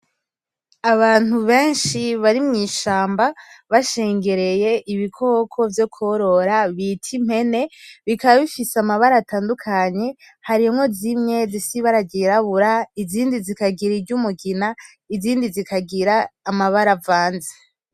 Abantu benshi barimwishamba bashengereye ibikoko vyokworora bita impene bikaba bifise amabara atandukanye harimwo zimwe zifise ibara ryirabura; izindi zikagira iryumugina; izindi zikagira amabara avanze.